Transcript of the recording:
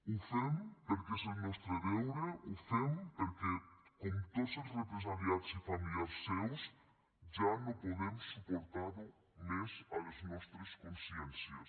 ho fem perquè és el nostre deure ho fem perquè com tots els represaliats i familiars seus ja no podem suportar ho més a les nostres consciències